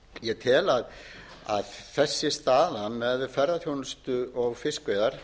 ég tel þess í stað með ferðaþjónustu og fiskveiðar